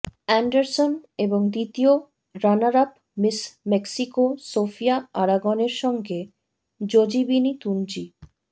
Anderson এবং দ্বিতীয় runner up Miss Mexico Sofia আরাগনের সঙ্গে জোজিবিনি তুনজি